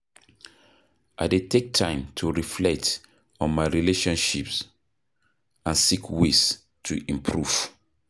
I dey take time to reflect on my relationships and seek ways to improve.